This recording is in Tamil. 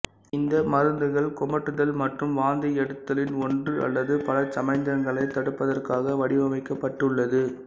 இந்த மருந்துகள் குமட்டுதல் மற்றும் வாந்தியெடுத்தலின் ஒன்று அல்லது பல சமிக்ஞைகளை தடுப்பதற்காக வடிவமைக்கப்பட்டுள்ளது